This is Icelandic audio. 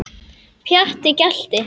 Pjatti gelti.